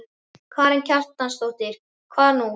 Karen Kjartansdóttir: Hvað nú?